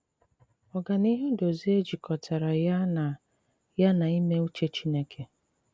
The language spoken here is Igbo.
Ògànìhù Dòzìè jikòtàrà ya na ya na ìmè ùchè Chìnékè.